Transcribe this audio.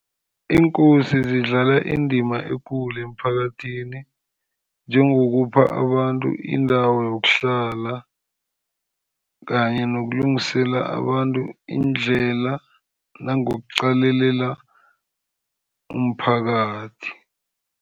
Iinkosi zidlala indima ekulu emphakathini, njengokupha abantu indawo yokuhlala, kanye nokulungisela abantu indlela nangokuqalelela umphakathi.